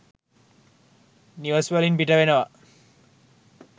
නිවෙස් වලින් පිට වෙනවා.